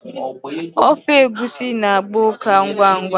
Ofe egusi na-agba ukà ngwa ngwa.